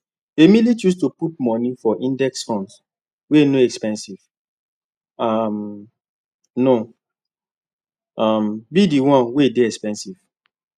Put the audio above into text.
emily choose to put money for index funds wey no expensive um no um be the one wey dey expensive